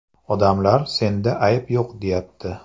Odamlar senda ayb yo‘q deyapti.